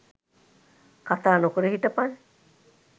කතා නොකර හිටපන්.